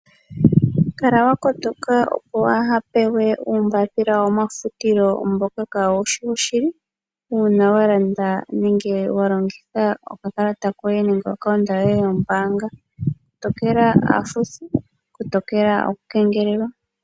Kala wa kotoka opo waa ha pewe uumbapila womafutilo mboka kaawu shi woshili uuna wa landa nenge wa longitha okakalata koye nenge omayalulo goye gombaanga. Kotokela aafuthi, kotokela omakengelelo.